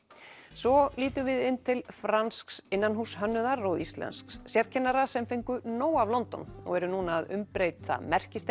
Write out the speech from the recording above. svo lítum við inn til fransks innanhússhönnuðar og íslensks sérkennara sem fengu nóg af London og eru nú að umbreyta